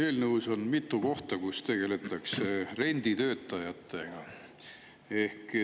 Eelnõus on mitu kohta, kus tegeletakse renditöötajatega.